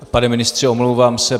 Pane ministře, omlouvám se.